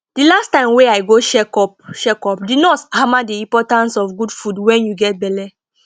the last time wey i go check up check up the nurse hammer the importance of good food wen you get belle